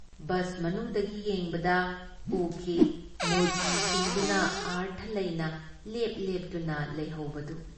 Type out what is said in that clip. Bus ꯃꯅꯨꯡꯗꯒꯤ ꯌꯦꯡꯕꯗ ꯎꯈꯤ ꯃꯨꯔꯇꯤꯁꯤꯡꯗꯨꯅ ꯑꯔꯊ ꯂꯩꯅ ꯂꯦꯞ-ꯂꯦꯞꯇꯨꯅ ꯂꯩꯍꯧꯕꯗꯨ ꯫